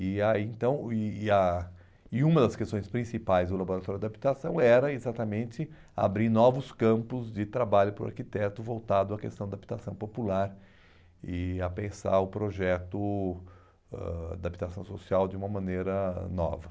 E aí então e e a e uma das questões principais do Laboratório de habitação era exatamente abrir novos campos de trabalho para o arquiteto voltado à questão da habitação popular e a pensar o projeto ãh da habitação social de uma maneira nova.